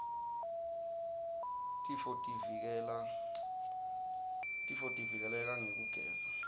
tifotivike leka ngekugeza